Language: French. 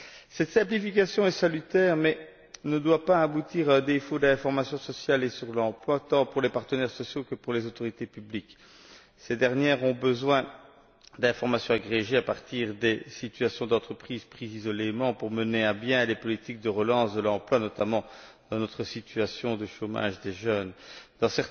Cette simplification est salutaire, mais elle ne doit pas aboutir à un défaut d'information sociale et d'information sur l'emploi, tant pour les partenaires sociaux que pour les autorités publiques. Ces dernières ont besoin d'informations agrégées à partir des situations d'entreprises prises isolément pour mener à bien des politiques de relance de l'emploi, notamment dans la situation de chômage des jeunes que nous connaissons aujourd'hui.